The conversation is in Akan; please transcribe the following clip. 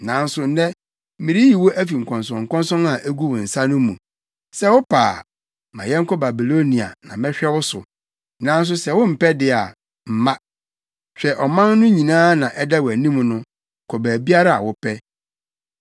Nanso nnɛ mereyi wo afi nkɔnsɔnkɔnsɔn a egu wo nsa no mu. Sɛ wopɛ a, ma yɛnkɔ Babilonia na mɛhwɛ wo so, nanso sɛ wompɛ de a, mma. Hwɛ ɔman no nyinaa na ɛda wʼanim no, kɔ baabiara a wopɛ.”